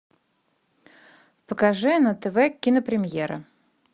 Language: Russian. покажи на тв кинопремьера